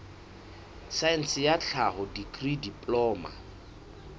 saense ya tlhaho dikri diploma